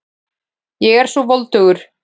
Ég er svo voldugur.